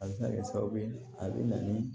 A bɛ se ka kɛ sababu ye a bɛ na ni